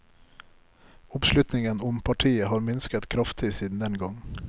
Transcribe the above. Oppslutningen om partiet har minsket kraftig siden den gang.